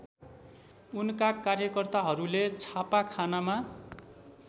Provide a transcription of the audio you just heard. उनका कार्यकर्ताहरूले छापाखानामा